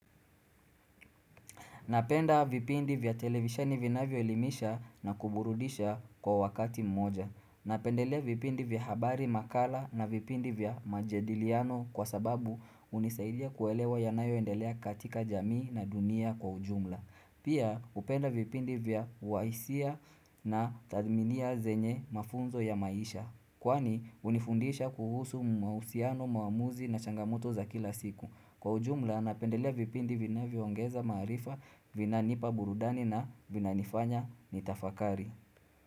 Napenda vipindi vya televisheni vinavyo elimisha na kuburudisha kwa wakati mmoja. Napendelea vipindi vya habari makala na vipindi vya majadiliano kwa sababu hunisaidia kuelewa ya nayo endelea katika jamii na dunia kwa ujumla. Pia hupenda vipindi vya waisia na tadminia zenye mafunzo ya maisha. Kwani unifundisha kuhusu mausiano maamuzi na changamoto za kila siku. Kwa ujumla napendelea vipindi vinavyo ongeza maarifa vina nipa burudani na vina nifanya nitafakari.